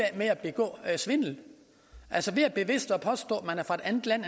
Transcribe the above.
med at begå svindel altså ved bevidst at påstå at man er fra et andet land